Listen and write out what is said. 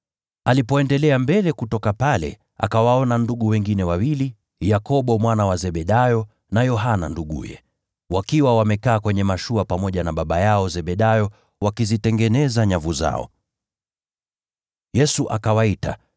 Alipoendelea mbele kutoka pale, akawaona ndugu wengine wawili, Yakobo mwana wa Zebedayo na Yohana nduguye, wakiwa wamekaa kwenye mashua pamoja na baba yao Zebedayo, wakizitengeneza nyavu zao. Yesu akawaita.